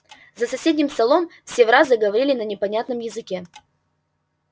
за соседним столом все враз заговорили на непонятном языке